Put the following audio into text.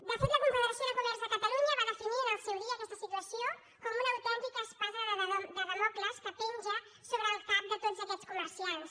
de fet la confederació de comerç de catalunya va definir en el seu dia aquesta situació com una autèntica espasa de dàmocles que penja sobre el cap d’aquests comerciants